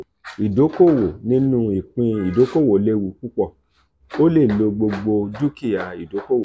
idoko-owo ninu ipin idokowo lewu pupọ; o le lo gbogbo dukia idokowo.